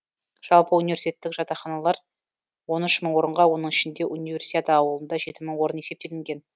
жалпы университеттік жатақханалар он үш мың орынға оның ішінде универсиада аулында жеті мың орын есептелінген